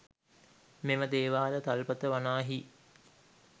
මෙම දේවාල තල්පත වනාහි